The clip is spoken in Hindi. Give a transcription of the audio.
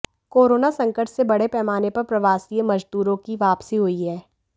कोरोना संकट से बड़े पैमाने पर प्रवासी मजदूरों की वापसी हुई है